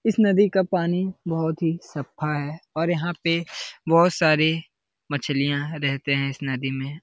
इस नदी का पानी बहुत ही सफा है और यहाँ पे बहुत सारी मछलियाँ रहतें हैं। इस नदी में --